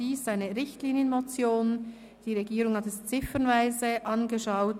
Die Regierung hat diese ziffernweise angeschaut;